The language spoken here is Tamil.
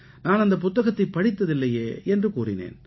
நான் அந்தப் புத்தகத்தைப் படித்ததில்லையே என்று கூறினேன்